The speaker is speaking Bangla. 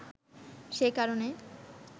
সে কারনে